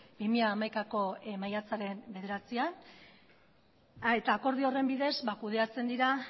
bi mila hamaikako maiatzaren bederatzian eta akordio horren bidez kudeatzen dira